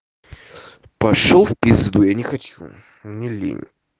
пошёл в пизду я не хочу мне лень